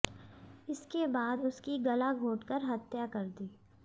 इसके बाद उसकी गला घोंटकर हत्या कर दी